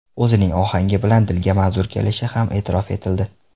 O‘zining ohanggi bilan dilga manzur kelishi ham e’tirof etildi.